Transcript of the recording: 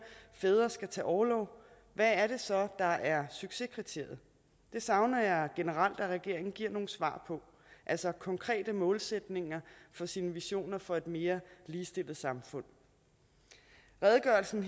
fædre skal tage orlov hvad er det så der er succeskriteriet det savner jeg generelt at regeringen giver nogle svar på altså konkrete målsætninger for sine visioner for et mere ligestillet samfund redegørelsen